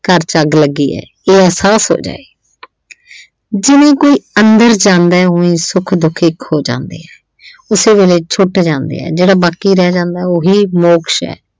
ਘਰ ਚ ਅੱਗ ਲੱਗੀ ਐ। ਇਹ ਅਹਿਸਾਸ ਹੋ ਜਾਏ ਜਿਵੇਂ ਕੋਈ ਅੰਦਰ ਜਾਂਦਾ ਉਂਵੇ ਸੁੱਖ ਦੁੱਖ ਇੱਕ ਹੋ ਜਾਂਦੇ ਆ ਉਸੇ ਵੇਲੇ ਛੁੱਟ ਜਾਂਦੇ ਆ ਜਿਹੜਾ ਬਾਕੀ ਰਹਿ ਜਾਂਦਾ ਉਹੀ ਮੋਕਸ਼ ਆ।